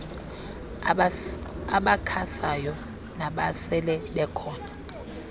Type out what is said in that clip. abakhasayo nabasele bekhona